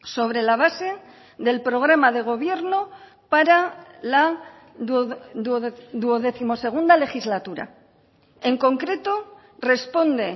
sobre la base del programa de gobierno para la duodécimo segunda legislatura en concreto responde